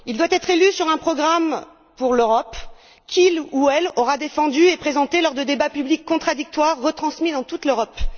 Il doit être élu sur la base d'un programme pour l'Europe, qu'il ou elle aura défendu et présenté lors de débats publics contradictoires, retransmis dans toute l'Europe.